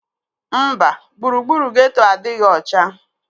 Mba, gburugburu geeto adịghị ọcha